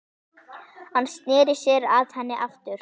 Hann sneri sér að henni aftur.